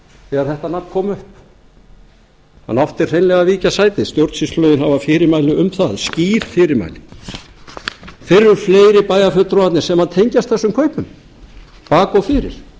þegar þetta nafn kom upp hann átti hreinlega að víkja sæti stjórnsýslulögin hafa fyrirmæli um það skýr fyrirmæli þeir eru fleiri bæjarfulltrúarnir sem tengjast þessum kaupum í bak og fyrir